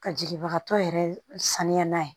Ka jigibaga tɔ yɛrɛ saniya n'a ye